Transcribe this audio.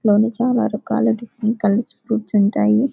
చాలా రకాల colours fruits ఉంటాయి